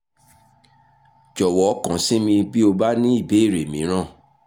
jọ̀wọ́ kàn sí mi bí o bá ní ìbéèrè mìíràn